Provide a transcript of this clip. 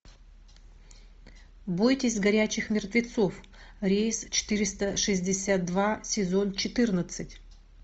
бойтесь горячих мертвецов рейс четыреста шестьдесят два сезон четырнадцать